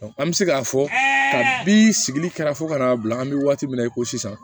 an bɛ se k'a fɔ kabi sigili kɛra fo ka n'a bila an bɛ waati min na i ko sisan